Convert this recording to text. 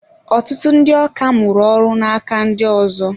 Ọtụtụ ndị ọkà mụrụ ọrụ n'aka ndị ọzọ.